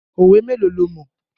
Òwe mélòó lo mọ̀?